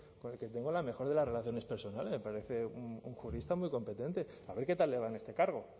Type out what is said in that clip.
con el que tengo la mejor de las relaciones personales me parece un jurista muy competente a ver qué tal le va en este cargo